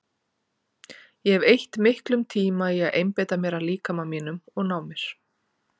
Ég hef eytt miklum tíma í að einbeita mér að líkama mínum og ná mér.